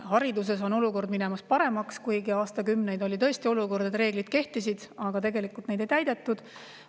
Hariduses on olukord minemas paremaks, kuigi aastakümneid oli tõesti nii, et reeglid kehtisid, aga tegelikult neid ei täidetud.